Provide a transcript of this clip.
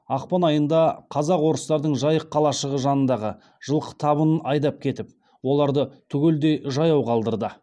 ақпан айында қазақ орыстардың жайық қалашығы жанындағы жылқы табынын айдап кетіп оларды түгелдей жаяу қалдырады